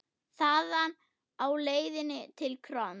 Þaðan lá leiðin til KRON.